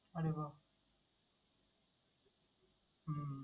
আরে বাহ! হুম